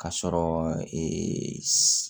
Ka sɔrɔ